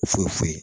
Foyi foyi foyi